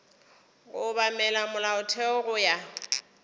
go obamela molaotheo go ya